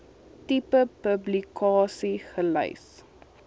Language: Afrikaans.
tipe publikasie gelys